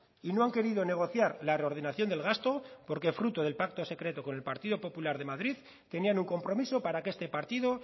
y no han querido negociar la reordenación del gasto porque fruto del pacto secreto con el partido popular de madrid tenían un compromiso para que este partido